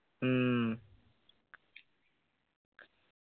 ഉം